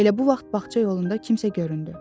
Elə bu vaxt bağ yolunda kimsə göründü.